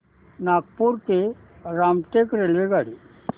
नागपूर ते रामटेक रेल्वेगाडी